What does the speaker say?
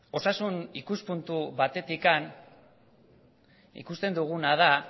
osasun ikuspuntu batetik ikusten duguna da